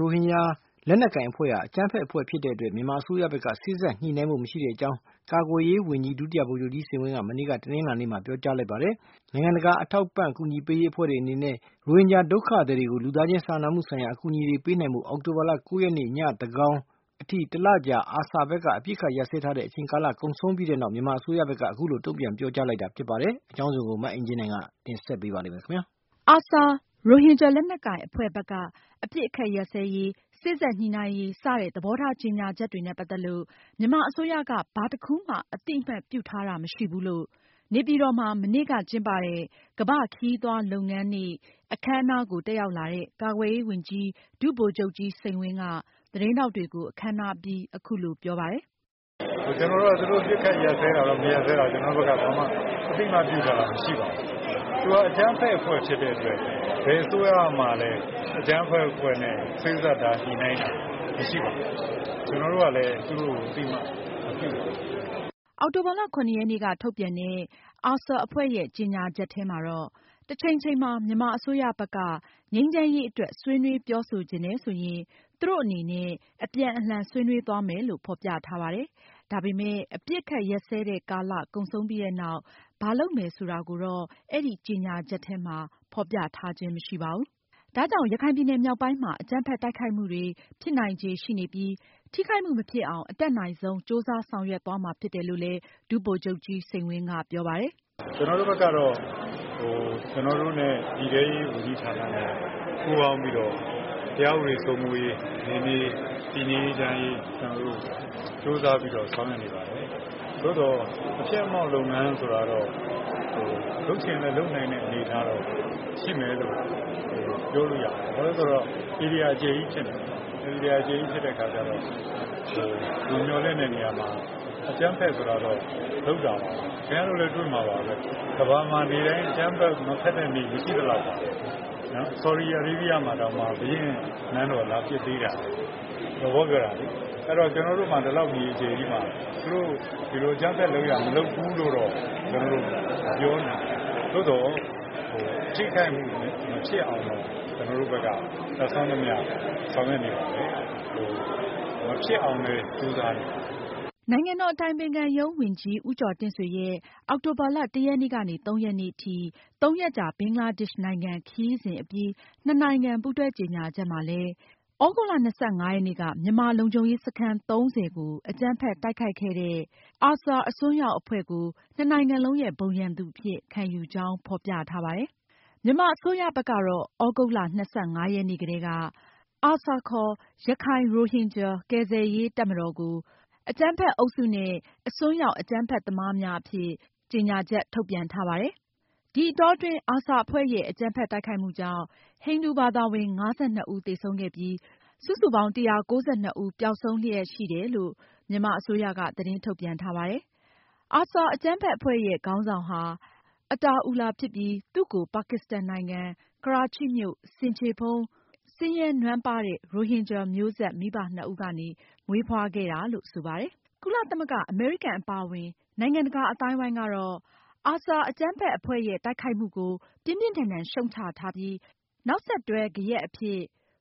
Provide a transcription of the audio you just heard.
ရိုဟင်ဂျာ လက်နက်ကိုင်အဖွဲ့ဟာ အကြမ်းဖက်အဖွဲ့ ဖြစ်တဲ့အတွက် မြန်မာအစိုးရဘက်က စေ့စပ်ညှိနှိုင်းဖို့ မရှိကြောင်း ကာကွယ်ရေးဝန်ကြီး ဒု ဗိုလ်ချုပ်ကြီး စိန်ဝင်းက မနေ့ တနင်္လာနေ့က ပြောကြားလိုက်ပါတယ်။ နိုင်ငံတကာအထောက်အကူပေးရေးအဖွဲ့တွေအနေနဲ့ ရိုဟင်ဂျာဒုက္ခသည်တွေကို လူသားချင်းစာနာမှု ဆိုင်ရာအကူအညီတွေပေးနိုင်ဖို့ အောက်တိုဘာလ ရက်နေ့ ညသန်းခေါင်ထိ တလကြာ ARSA ဘက်က အပစ်ခတ်ရပ်စဲထားတဲ့ အချိန်ကာလ ကုန်ဆုံးပြီးနောက် မြန်မာအစိုးရဘက်က အခုလို တုံ့ပြန်ပြောဆိုလိုက်တာဖြစ်ပါတယ်။ မအင်ကြင်းနိုင်က အပြည့်အစုံကို တင်ဆက်မှာပါ။ ARSA ရိုဟင်ဂျာလက်နက်ကိုင်အဖွဲ့ဘက်က အပစ်ခတ်ရပ်စဲရေး၊ စေ့စပ်ညှိုနှိုင်းရေး စတဲ့ သဘောထားကြေညာချက်တွေနဲ့ ပတ်သက်လို့ မြန်မာအစိုးရက ဘာတခုမှ အသိအမှတ်ပြုထားတာမရှိဘူးလို့ နေပြည်တော်မှာ မနေ့က ကျင်းပတဲ့ ကမ္ဘာ့ခရီးသွားလုပ်ငန်းနေ့ အခမ်းအနားကို တက်ရောက်လာတဲ့ ကာကွယ်ရေးဝန်ကြီး ဒု ဗိုလ်ချုပ်ကြီး စိန်ဝင်းက သတင်းထောက်တွေကို အခမ်းအနားအပြီး အခုလို ပြောပါတယ်။ “ ကျနော်တို့ဘက်က သူတို့ အပစ်ခတ်ရပ်စဲတာတို့ မရပ်စဲတာတို့ ကျနေ်ာတို့ ဘက်က ဘာမှ မသိအမှတ်ပြုထားတာ မရှိပါဘူး။ သူက အကြမ်းအဖက်အဖွဲ့ဖြစ်တဲ့အတွက် ဘယ်အစိုးရအဖွဲ့ကမှလည်း အကြမ်းဖက်အဖွဲ့နဲ့ စေ့စပ် ညှိနှိုင်းထားတာ မရှိပါဘူး။ ကျနော်တို့ကလည်း သူတို့ကို အသိအမှတ်မပြုပါဘူး။” အောက်တိုဘာလ ရက်နေ့က ထုတ်ပြန်တဲ့ ARSA အဖွဲ့ရဲ့ ကြေညာချက်ထဲမှာတော့ - တချိန်ချိန်မှာ မြန်မာအစိုးရဘက်က ငြိမ်းချမ်းရေးအတွက် ဆွေးနွေးပြောဆိုချင်တယ်ဆိုရင် သူတို့အနေနဲ့ အပြန်အလှန် ဆွေးနွေးသွားမယ်လို့ ဖော်ပြထားပါတယ်။ ဒါပေမယ့် အပစ်အခတ်ရပ်စဲတဲ့ကာလ ကုန်ဆုံးပြီးနောက် ဘာလုပ်မယ်ဆိုတာကိုတော့ အဲဒီကြေညာချက်ထဲမှာ ဖေါ်ပြထားခြင်းမရှိပါဘူး။ ဒါကြောင့် ရခိုင်ပြည်နယ်မြောက်ပိုင်းမှာ အကြမ်းဖက်တိုက်ခိုက်မှုတွေ ဖြစ်နိုင်ချေ ရှိနေပြီး ထိခိုက်မှု မဖြစ်အောင် အတတ်နိုင်ဆုံး ကြိုးစားဆောင်ရွက်သွားမှာဖြစ်တယ်လို့ ဒုဗိုလ်ချုပ်ကြီး စိန်းဝင်းကပြောပါတယ်။ “ကျနော်တို့ဘက်ကတော့ ပြည်ထဲရေးဌာနနဲ့ ပူးပေါင်းပြီးတော့ တရားဥပဒေ စိုးမိုးရေး၊ နယ်မြေတည်ငြိမ်အေးချမ်းရေး ကြိုးစားပြီးတော့ဆောင်ရွက်နေပါတယ်။ သို့သော် အဖျက်အမှောက်လုပ်ငန်းဆိုတာတော့ လုပ်ချင်လဲလုပ်နိုင်တဲ့ အနေအထားတော့ရှိမယ်လို့ ပြောလို့ရပါတယ်။ ဘာလို့လဲဆိုတော့ ဧရိယာအကျယ်ကြီး ဖြစ်နေတဲ့အခါကျတော့ မမျှော်လင့်တဲ့အခါမှာ အကြမ်းဖက်ဆိုတာကတော့ လုပ်တာပါပဲ။ ကမ္ဘာမှာနေ့တိုင်း အကြမ်းမဖက်တဲ့ နေ့မရှိသလောက်ပါပဲ။ ဆော်ဒီမှာတောင် ဘုရင့်နန်းတော် လာပစ်သေးတာပဲ သဘောပြောတာလေ။ ကျနော်တို့မှာ ဒီလောက်မြေ အကျယ်ကြီးမှာ ဒီလိုအကြမ်းဖက် လုပ်ရပ် မလုပ်ဘူးလို့တော့ မပြောနိုင်ဘူး။ သို့သော် ထိခိုက်မှု မဖြစ်အောင်တော့ ကျနော်တို့ ဘက်က တတ်စွမ်းသမျှ ဆောင်ရွက်နေပါတယ်။ မဖြစ်အောင်လဲ ကြိုးစားနေပါတယ်။” နိုင်ငံတော်အတိုင်ပင်ခံပုဂ္ဂိုလ်ရုံး ဝန်ကြီး ဦးကျော်တင့်ဆွေရဲ့ အောက်တိုဘာလ ၁-၃ ရက်နေ့ထိ ၃ ရက်ကြာ ဘင်္ဂလားဒေ့ရှ်နိုင်ငံ ခရီးစဉ်အပြီး နှစ်နိုင်ငံ ပူးတွဲကြေညာချက်မှာလည်း သြဂုတ်လ ၂၅ ရက်နေ့က မြန်မာလုံခြုံရေးစခန်း ၃၀ ကို အကြမ်းဖက်တိုက်ခိုက်ခဲ့တဲ့ ARSA အစွန်းရောက်အဖွဲ့ကို နှစ်နိုင်ငံလုံးရဲ့ ဘုံရန်သူအဖြစ် ခံယူကြောင်း ဖေါ်ပြထားပါတယ်။ မြန်မာအစိုးရက သြဂုတ်လ ၂၅ ရက်နေ့ က ARSA ရခိုင်ရိုဟင်ဂျာ ကယ်ဆယ်ရေးတပ်မတော်ကို အကြမ်းဖက်အုပ်စုနဲ့ အစွန်းရောက် အကြမ်းဖက်သမားများအဖြစ် ကြေညာထားပါတယ်။ ဒီအတောအတွင်းARSA အဖွဲ့ရဲ့ အကြမ်းဖက်တိုက်ခိုက်မှုကြောင့် ဟိန္ဒူဘာသာဝင် ၅၂ ဦး သေဆုံးခဲ့ပြီး စုစုပေါင်း ၁၉၂ ဦး ပျောက်ဆုံးလျက်ရှိတယ်လို့လဲ မြန်မာအစိုးရ သတင်းထုတ်ပြန်ထားပါတယ်။ ARSA အကြမ်းဖက်အဖွဲ့ရဲ့ ခေါင်းဆောင်ဟာ Ata Ullah ဖြစ်ပြီး သူ့ကို ပါကစ္စတန်နိုင်ငံ ကရာချိမြို့ ဆင်ခြေဖုံး ဆင်းရဲနွမ်းပါးတဲ့ ရိုဟင်ဂျာမျိုးဆက် မိဘနှစ်ဦးကမွေးဖွားခဲ့တာလို့ဆိုပါတယ်။ ကုလသမဂ္ဂ၊ အမေရိကန်အပါအဝင်နိုင်ငံတကာအသိုင်းအဝိုင်းက ARSA အကြမ်းဖက်အဖွဲ့တိုက်ခိုက်မှုကို ပြင်းပြင်းထန်ထန်ရှုတ်ချထားပြီး နောက်ဆက်တွဲ ဂယက်အဖြစ်